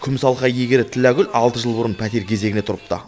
күміс алқа иегері тілләгүл алты жыл бұрын пәтер кезегіне тұрыпты